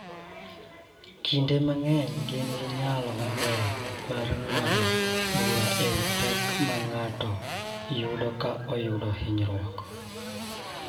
Kinde mang�eny gin gi nyalo maber mar ng�ado bura e wi pek ma ng�ato yudo ka oyudo hinyruok.